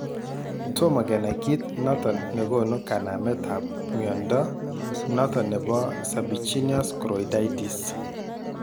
Toma kenai kit noton nekonu kanamet ab mnyondo noton nebo serpiginous choroiditis